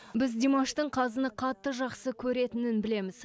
біз димаштың қазыны қатты жақсы көретінін білеміз